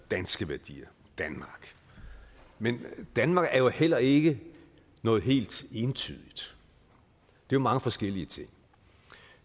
danske værdier danmark men danmark er jo heller ikke noget helt entydigt det er mange forskellige ting